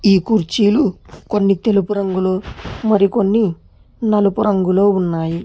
ఈ కుర్చీలు కొన్ని తెలుపు రంగులో మరికొన్ని నలుపు రంగులో ఉన్నాయి.